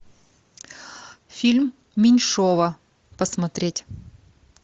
фильм меньшова посмотреть